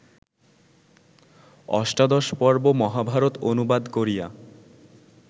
অষ্টাদশপর্ব মহাভারত অনুবাদ করিয়া